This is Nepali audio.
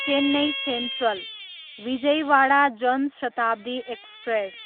Chennai Central, Vijayawada Jan Shatabdi express